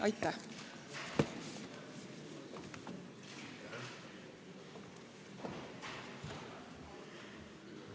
Aitäh!